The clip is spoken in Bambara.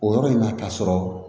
O yɔrɔ in na k'a sɔrɔ